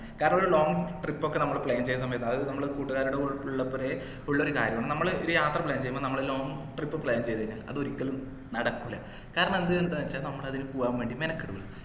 കാരണം ഒരു long trip ഒക്കെ നമ്മൾ plan ചെയ്യുന്ന സമയത്ത് അത് നമ്മൾ കൂട്ടുകാരുടെ കൂടെ ഉള്ളപ്പോഴേ ഉള്ളൊരു കാര്യാണ് നമ്മൾ ഒരു യാത്ര plan ചെയ്യുമ്പോൾ നമ്മൾ ഒരു long trip plan ചെയ്തു കഴിഞ്ഞാൽ അത് ഒരിക്കലും നടക്കൂല കാരണം അത്എന്ത്ന്ന് വെച്ച നമ്മള് അതിനു പോവാൻ വേണ്ടി മെനക്കേടില്ല